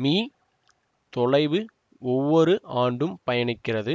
me தொலைவு ஒவ்வொரு ஆண்டும் பயணிக்கிறது